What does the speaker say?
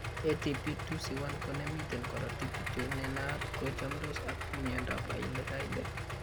ATP2C1 ko ne miten korootiik kityo ne naat ko chamndos ak mnyandoap Hailey Hailey.